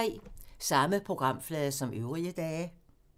Samme programflade som øvrige dage